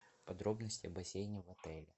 подробности о бассейне в отеле